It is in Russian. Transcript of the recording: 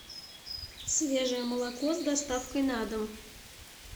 свежее молоко с доставкой на дом